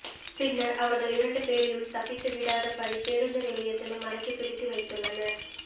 பின்னர் அவர்கள் இரண்டு பேரையும் தப்பித்துவிடாதபடி பேருந்து நிலையத்தில் மடக்கிப் பிடித்து வைத்துள்ளனர்